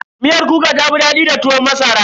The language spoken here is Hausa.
Miyar kuka ta fi daɗi da tuwon masara.